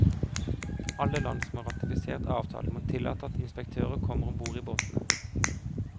Alle land som har ratifisert avtalen må tillate at inspektører kommer om bord i båtene.